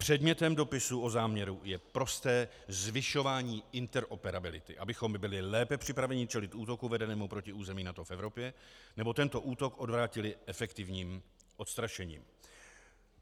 Předmětem dopisu o záměru je prosté zvyšování interoperability, abychom my byli lépe připraveni čelit útoku vedenému proti území NATO v Evropě nebo tento útok odvrátili efektivním odstrašením.